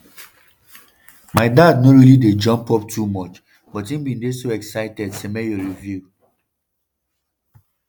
my dad no really dey jump up too much but im bin dey so excited" semenyo reveal.